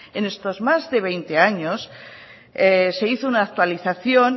en estos más de veinte años se hizo una actualización